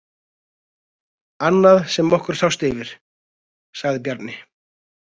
Annað sem okkur sást yfir, sagði Bjarni.